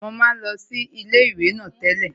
Mo máa ń lọ sí ilé ìwé náà tẹ́lẹ̀